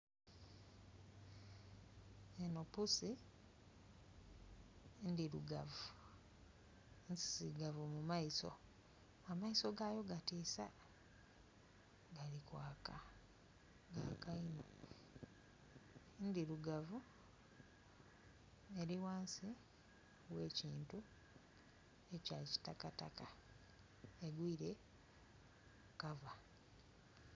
Eno pusi endhirugavu nzizigavu mu maiso, ameiso gayo gatisa galikwaka gaka iino. Ndhirugavu erighansi ghekintu ekya kitakataka egwire kava.